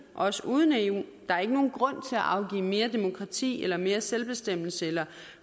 også uden eu der er ikke nogen grund til at afgive mere demokrati eller mere selvbestemmelse eller